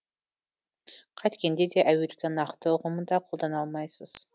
қайткенде де әуелгі нақты ұғымында қолдана алмайсыз